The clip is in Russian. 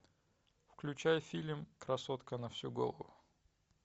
включай фильм красотка на всю голову